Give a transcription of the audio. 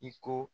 I ko